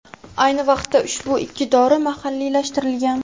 Ayni vaqtda ushbu ikki dori mahalliylashtirilgan.